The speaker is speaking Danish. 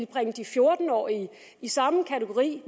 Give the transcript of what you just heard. bringe de fjorten årige i samme kategori